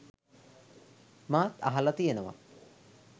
මාත් අහල තියෙනවා.